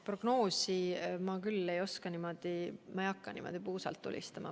Prognoosi ma küll ei oska öelda, ma ei hakkaks praegu niimoodi puusalt tulistama.